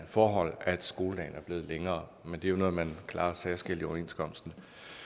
forhold at skoledagen er blevet længere det er jo noget man klarer særskilt i overenskomsten